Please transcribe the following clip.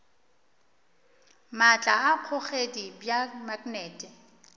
maatla a kgogedi bja maknete